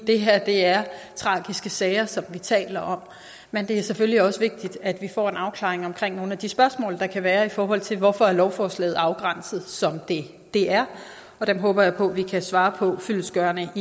det her er tragiske sager som vi taler om men det er selvfølgelig også vigtigt at vi får en afklaring omkring nogle af de spørgsmål der kan være i forhold til hvorfor lovforslaget er afgrænset som det er og dem håber jeg på vi kan svare på fyldestgørende i